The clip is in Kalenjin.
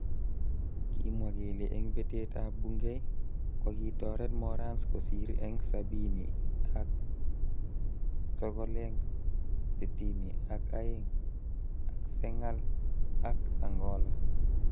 Kimwa kele eng betet ab Bungei kokitoret Morans kosir eng sabini ak.sokoleng sitini ak aeng akSengal ak Angola.